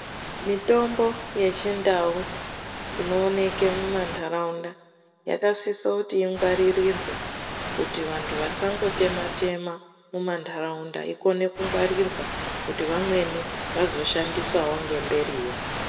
Mitombo yechindau, inowoneke mumandharawunda yakasise kuti ingwaririrwe kuti vantu vasangotema tema mumandharawunda akone kungwarirwa kuti vamweni vazoshandisawo ngemberi.